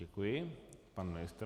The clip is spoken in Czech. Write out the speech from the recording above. Děkuji, pan ministr.